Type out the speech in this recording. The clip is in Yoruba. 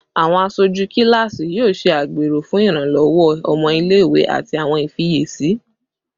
Awọn aṣoju kilasi yoo ṣe agbero fun iranlọwọ ọmọ ile-iwe ati awọn ifiyesi